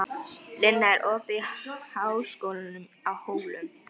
Linnea, er opið í Háskólanum á Hólum?